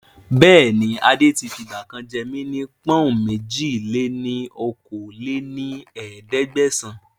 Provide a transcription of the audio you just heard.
Bẹ́ẹ̀ni adé tí fi ìgbàkan jẹ́ mí ní pọ̀n-ùn èjì-lé-ní-okòó lé ní ẹ̀ẹ́dẹ́gbẹ́sán